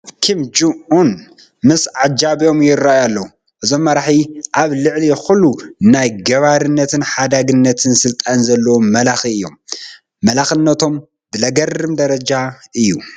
ኪም ጆን ኡን ምስ ዓጀቦም ይርአዩ ኣለዉ፡፡ እዞም መራሒ ኣብ ልዕሊ ኩሉ ናይ ገባርነትን ሓዳግነትን ስልጣን ዘለዎም መላኺ እዮም፡፡ መላኽነቶም ብዘግርም ደረጃ እዩ፡፡